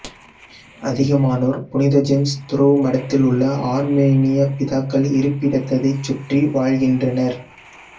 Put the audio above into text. அதிகமானோர் புனித ஜேம்ஸ் துறவுமடத்திலுள்ள ஆர்மேனிய பிதாக்கள் இருப்பிடத்ததைச் சுற்றி வாழ்கின்றனர்